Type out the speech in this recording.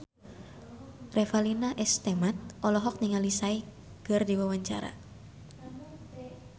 Revalina S. Temat olohok ningali Psy keur diwawancara